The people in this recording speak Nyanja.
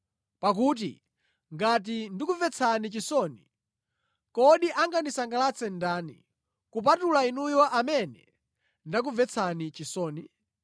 Pakuti ngati ndikumvetsani chisoni, kodi angandisangalatse ndani, kupatula inuyo amene ndakumvetsani chisoni?